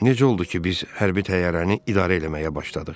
Necə oldu ki, biz hərbi təyyarəni idarə eləməyə başladıq?